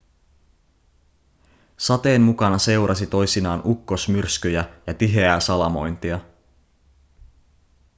sateen mukana seurasi toisinaan ukkosmyrskyjä ja tiheää salamointia